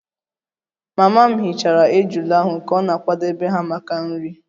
Mama m hichara ejula ahu ka ọ na-akwadebe ha maka nri